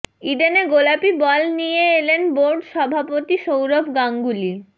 ইডেনে গোলাপি বল নিয়ে এলেন বোর্ড সভাপতি সৌরভ গাঙ্গুলি